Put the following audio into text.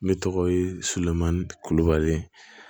Ne tɔgɔ ye solomani kulubali